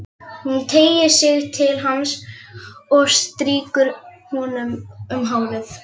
Hún teygir sig til hans og strýkur honum um hárið.